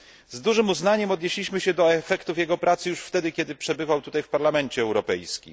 Z dużym uznaniem odnieśliśmy się do efektów jego pracy już wtedy, kiedy gościł tutaj, w Parlamencie Europejskim.